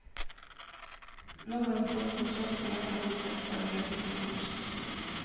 Nå har hun fått kontrakt med en av de største agentene i bransjen.